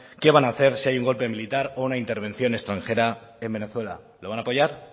qué van a hacer si hay un golpe militar o una intervención extranjera en venezuela lo van a apoyar